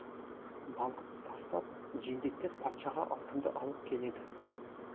балықты тастап жендеттер патшаға алтынды алып келеді